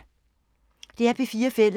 DR P4 Fælles